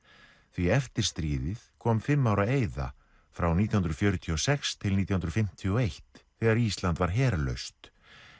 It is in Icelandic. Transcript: því eftir stríðið kom fimm ára eyða frá nítján hundruð fjörutíu og sex til nítján hundruð fimmtíu og eitt þegar Ísland var herlaust